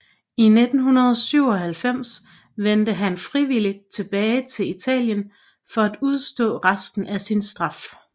I 1997 vendte han frivilligt tilbage til Italien for at udstå resten af sin straf